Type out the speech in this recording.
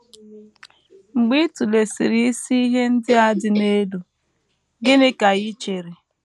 Mgbe ị tụlesịrị isi ihe ndị a dị n’elu, gịnị ka i chere?